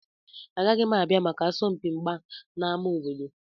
Agaghị m abịa maka asọmpi mgba na ámá obodo.